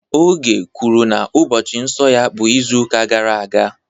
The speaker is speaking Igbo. Oge kwuru na ụbọchị nsọ ya bụ izuụka gara aga